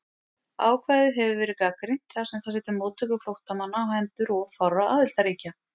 Ákvæðið hefur verið gagnrýnt þar sem það setur móttöku flóttamanna á hendur of fárra aðildarríkja.